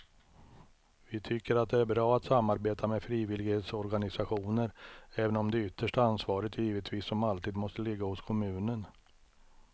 Vi tycker att det är bra att samarbeta med frivillighetsorganisationer även om det yttersta ansvaret givetvis som alltid måste ligga hos kommunen.